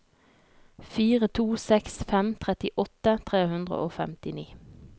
fire to seks fem trettiåtte tre hundre og femtini